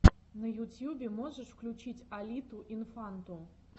на ютьюбе можешь включить алиту инфанту